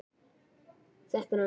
Vatnið streymir úr andliti mínu.